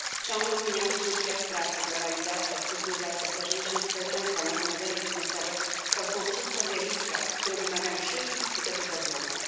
Ciągle zmieniający się świat pracy, globalizacja, cyfryzacja, starzenie się społeczeństwa, nowe modele biznesowe to są wszystko zjawiska, które wymagają szybkich i skutecznych rozwiązań.